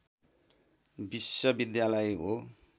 विश्वविद्यालय हो